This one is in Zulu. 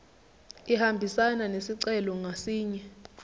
ihambisane nesicelo ngasinye